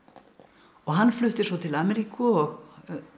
og hann flutti svo til Ameríku og